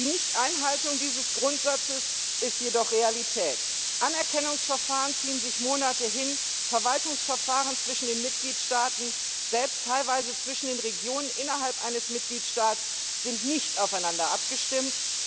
Die Nichteinhaltung dieses Grundsatzes ist jedoch Realität Anerkennungsverfahren ziehen sich Monate hin, Verwaltungsverfahren zwischen den Mitgliedstaaten, selbst teilweise zwischen den Regionen innerhalb eines Mitgliedstaats, sind nicht aufeinander abgestimmt.